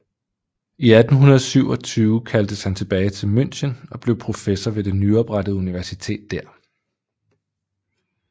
I 1827 kaldtes han tilbage til München og blev professor ved det nyoprettede universitet der